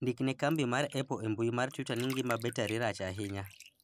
ndik ne kambi mar apple e mbui mar twita ni ngima betari rach ahinya